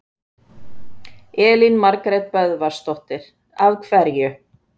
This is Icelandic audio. Elín Margrét Böðvarsdóttir: Af hverju?